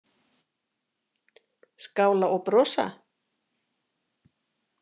Skála og brosa?